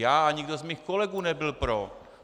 Já a nikdo z mých kolegů nebyl pro.